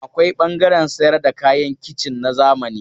Akwai ɓangaren sayar da kayan kicin na zamani.